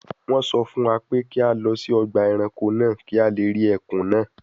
Wọ́n sọ fún wa pé kí a lọ sí ọgbà ẹranko náà kí a lè rí ẹkùn náà